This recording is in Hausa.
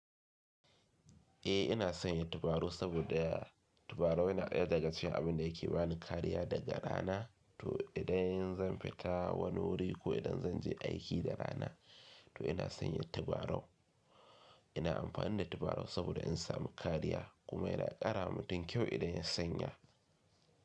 Eh ina sanya tabarau saboda tabarau yana ɗaya daga cikin abinda yake bani kariya daga rana. To idan zan fita wani wuri ko idan zan je aiki da rana to ina sanya tabarau. Ina amfani da tabarau saboda in samu kariya kuma yana ƙara mutum kyau idan ya sanya.